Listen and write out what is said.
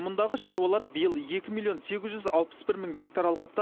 мұндағы шаруалар биыл екі миллион сегіз жүз алпыс бір мың гектар алқапта